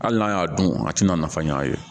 Hali n'a y'a dun a tɛna nafa ɲ'a ye